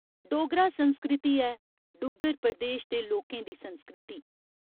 डोगरा संस्कृति ऐ डुग्गर प्रदेश दे लोकें दी संस्कृति।